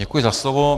Děkuji za slovo.